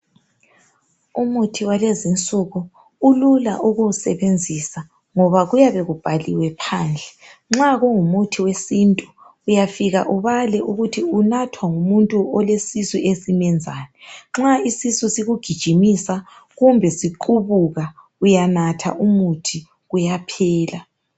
Umuthi walezinsuku ulula ukuwusebenzisa ngoba kuyabe kubhaliwe phandle. Nxa kungumuthi wesintu uyafika ubale ukuthi unathwa ngumuntu olesisu esimenzani. Nxa isisu sikugijimisa kumbe siqubuka uyanatha umuthi kuyaphela.